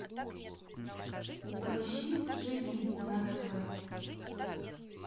поищи живи на тв